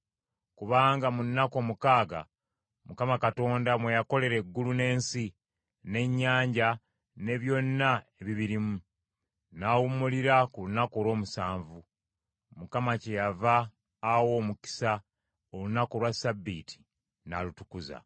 Kubanga mu nnaku omukaaga Mukama Katonda mwe yakolera eggulu n’ensi, n’ennyanja, ne byonna ebibirimu, n’awummulira ku lunaku olw’omusanvu. Mukama kyeyava awa omukisa olunaku olwa Ssabbiiti n’alutukuza.